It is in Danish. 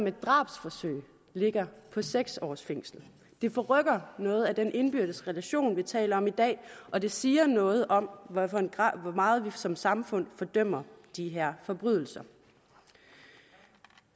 et drabsforsøg ligger på seks års fængsel det forrykker noget af den indbyrdes relation vi taler om i dag og det siger noget om hvor meget vi som samfund fordømmer de her forbrydelser